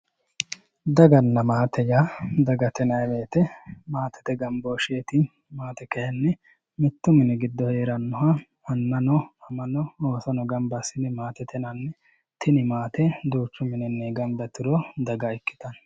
Daganna maate yaa dagate yinayii woyiite maatete gambooshsheeti mittu mini giddo heerannoha annano amano oosono gamba assine maatete yinanni tini maate duuchu mininni gamba yituro daga ikkitanno